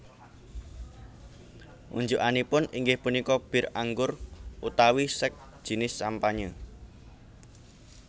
Unjukanipun inggih punika bir anggur utawi Sekt jinis sampanye